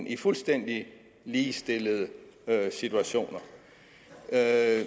i fuldstændig ligestillede situationer er